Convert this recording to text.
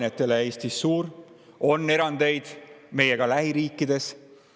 on erandeid, ka meie lähiriikides.